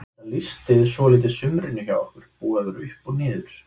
Þetta lýsti svolítið sumrinu hjá okkur, búið að vera upp og niður.